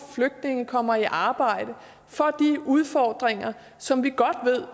flygtninge kommer i arbejde for de udfordringer som vi godt